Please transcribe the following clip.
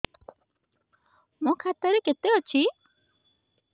ମୋ ଖାତା ରେ କେତେ ଅଛି